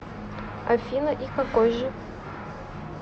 афина и какой же